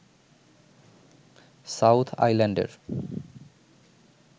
south আইল্যান্ডের